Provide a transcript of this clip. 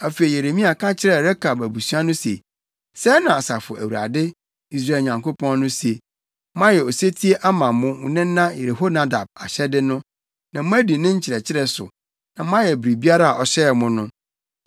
Afei Yeremia ka kyerɛɛ Rekab abusua no se, “Sɛɛ na Asafo Awurade, Israel Nyankopɔn no se: ‘Moayɛ osetie ama mo nena Yehonadab ahyɛde no, na moadi ne nkyerɛkyerɛ so, na moayɛ biribiara a ɔhyɛɛ mo no.’